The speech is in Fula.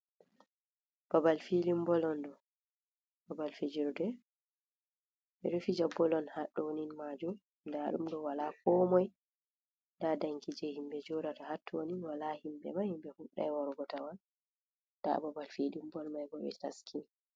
Babal filin bol on ɗo babal fijirde ɓe ɗo fija bol on haɗɗo ni majum nda ɗum ɗo wala ko moi nda danki je himɓe joɗata ha tottonin wala himɓe mai himɓe fuɗɗai warugo tawan, nda babal filin bol mai bo ɓe taski.